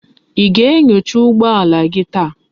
Í ga-aga inyocha ụgbọala gi taa?